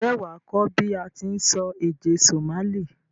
N jé wàá kó bi a ti n sọ èdè Somali